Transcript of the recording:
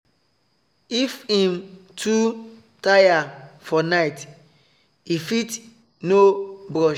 if him too tire for night he fit no brush